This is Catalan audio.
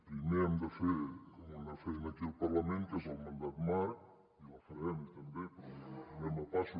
primer hem de fer una feina aquí al parlament que és el mandat marc i la farem també però anem a passes